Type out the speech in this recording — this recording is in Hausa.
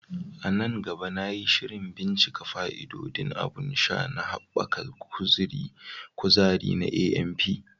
A nan gaba, na yi shirin bincika fa'idodin abun sha na haɓaka kuzari na AMP.